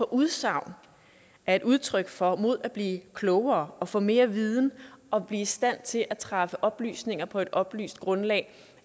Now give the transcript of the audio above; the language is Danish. udsagn er et udtryk for mod at blive klogere og få mere viden og blive i stand til at træffe oplysninger på et oplyst grundlag